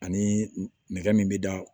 Ani nɛgɛ min bɛ da